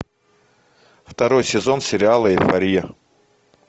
второй сезон сериала эйфория